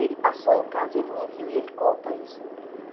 Ele passou em casa, ele me viu e ele conta isso no livro.